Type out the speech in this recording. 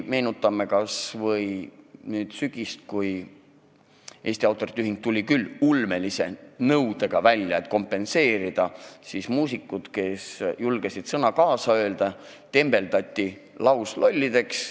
Meenutame kas või sügist – kui Eesti Autorite Ühing tuli välja ulmelise kompensatsiooninõudega, siis muusikud, kes julgesid sõna sekka öelda, tembeldati lauslollideks.